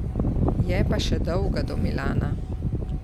Je pa še dolga do Milana.